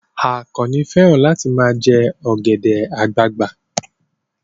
Àkànnì fẹ́ràn láti ma jẹ́ ọ̀gẹ̀dẹ̀ àgbagbà